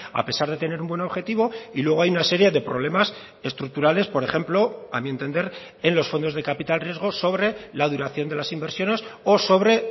a pesar de tener un buen objetivo y luego hay una serie de problemas estructurales por ejemplo a mi entender en los fondos de capital riesgo sobre la duración de las inversiones o sobre